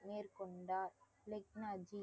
மேற்கொண்டார் லெக்னா ஜி